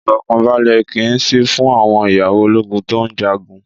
Ìfọkànbalẹ̀ kì í sí fún àwọn ìyàwó ológun tó ń jagun.